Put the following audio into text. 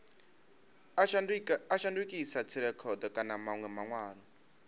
a shandukisa dzirekhodo kana manwe manwalo